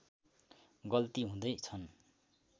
गल्ती हुँदै छन्